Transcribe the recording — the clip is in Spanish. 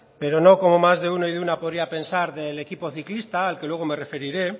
pero no como más de uno y de una podría pensar del equipo ciclista al que luego me referiré